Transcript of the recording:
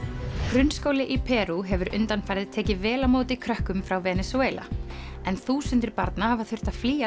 grunnskóli í Perú hefur undanfarið tekið vel á móti krökkum frá Venesúela en þúsundir barna hafa þurft að flýja